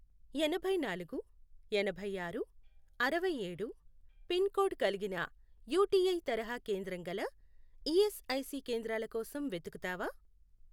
ఎనభైనాలుగు, ఎనభైఆరు, అరవైఏడు, pin code కలిగిన యుటిఐ తరహా కేంద్రం గల ఈఎస్ఐసి కేంద్రాల కోసం వెతుకుతావా?